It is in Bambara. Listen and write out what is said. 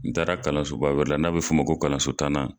N taara kalanso ba wɛrɛ la n'a bɛ f'o ma ko kalanso tannan.